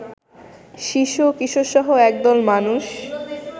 শিশু ও কিশোরসহ একদল মানুষ